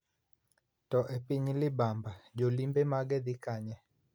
To epiny ma libamba jolimbe mage dhi kanye?